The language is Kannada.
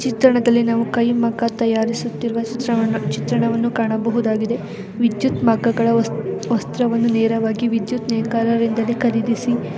ಈ ಚಿತ್ರಣದಲ್ಲಿ ನಾವು ಕೈ ಮಗ್ಗ ತಯಾರಿಸುತ್ತಿರುವ ಚಿತ್ರವನ್ನು ಚಿತ್ರಣವನ್ನು ಕಾಣಬಹುದಾಗಿದೆ. ವೈಚಿತ್ ಮಕಗಳ ವಸ್ತ್ ವಸ್ತ್ರವನ್ನು ನೇರವಾಗಿ ವಿದ್ಯುತ್ತ್ ನಿಂದ ಖರೀದಿಸಿ --